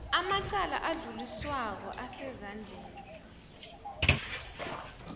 amacala adluliswako asezandleni